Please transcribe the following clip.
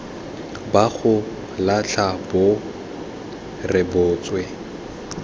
ba go latlha bo rebotswe